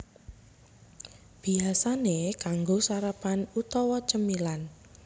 Biyasané kanggo sarapan utawa cemilan